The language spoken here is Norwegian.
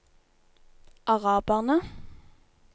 araberne